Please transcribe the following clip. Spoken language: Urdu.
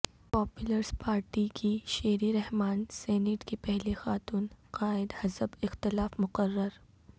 پیپلز پارٹی کی شیری رحمان سینیٹ کی پہلی خاتون قائد حزب اختلاف مقرر